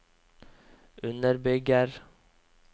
underbygger